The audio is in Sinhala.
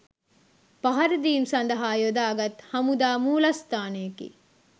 පහරදීම් සඳහා යොදාගත් හමුදා මූලස්ථානයකි.